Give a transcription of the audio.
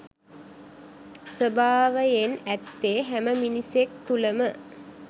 ස්වභාවයෙන් ඇත්තේ හැම මිනිසෙක් තුලම